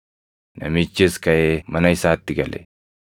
Namichis kaʼee mana isaatti gale.